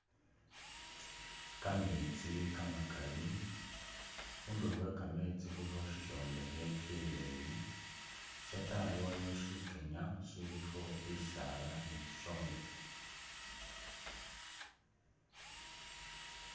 Kameetsi kamakali khundilo khwekameetsi khulikho shishombekhe shileyi shatayi waliwo shikenya shilikho shisaala ni shishombekhe.